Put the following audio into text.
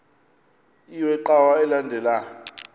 iwe cawa elandela